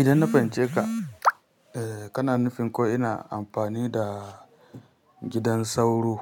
Idan na fahimci ka, eh kana nufin ko ina amfani da gidan sauro